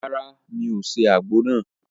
Ràrá, mí o se àgbo nàá